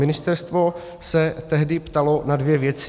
Ministerstvo se tehdy ptalo na dvě věci.